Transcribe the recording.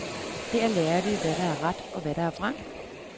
Her lærer vi, hvad der er ret, og hvad der er vrang.